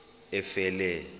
efele